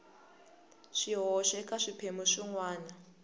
swihoxo eka swiphemu swin wana